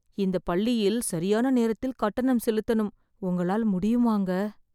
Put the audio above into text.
இந்தப் பள்ளியில் சரியான நேரத்தில் கட்டணம் செலுத்தனும். உங்களால முடியுமாங்க